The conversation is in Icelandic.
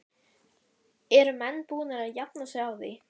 Eru menn búnir að jafna sig á því?